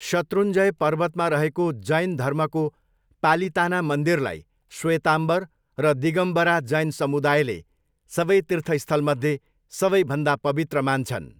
शत्रुञ्जय पर्वतमा रहेको जैन धर्मको पालिताना मन्दिरलाई श्वेताम्बर र दिगम्बरा जैन समुदायले सबै तीर्थस्थलमध्ये सबैभन्दा पवित्र मान्छन्।